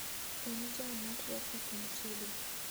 en jam ma trafik machiegni